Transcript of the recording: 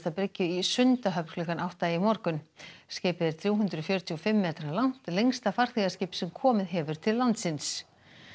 bryggju í Sundahöfn klukkan átta í morgun skipið er þrjú hundruð fjörutíu og fimm metra langt lengsta farþegaskip sem komið hefur til landsins